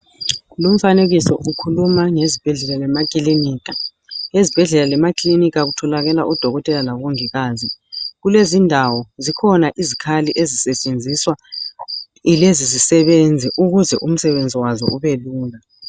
Lumfanekiso ukhuluma ngezibhedlela lamakilinika. Ezibhedlela lemakilinika kutholakala odokotela labomongikazi, kulezindawo zikhona izikhali ezisetshenziswa yilezi zisebenzi ukuze umsebenzi wazo ubelula.